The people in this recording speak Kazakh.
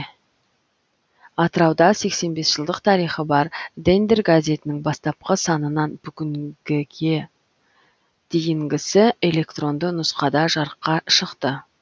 атырауда сексен бес жылдық тарихы бар дендер газетінің бастапқы санынан бүгінге дейінгісі электронды нұсқада жарыққа шықты